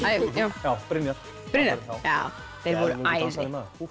já Brynjar Brynjar þeir voru æði